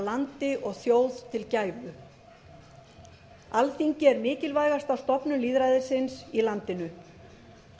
landi og þjóð til gæfu alþingi er mikilvægasta stofnun lýðræðisins í landinu